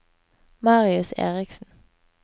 Marius Eriksen